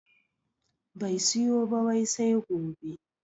Bai siyo ba wai sai gobe